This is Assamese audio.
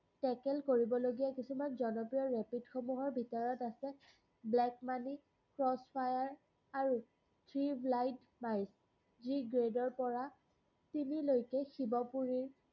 trekking কৰিবলগীয়া কিছুমান জনপ্ৰিয় rapid সমূহৰ ভিতৰত আছে black-money, cross-fire আৰু grade ৰপৰা চিধিলৈকে শিৱপুৰী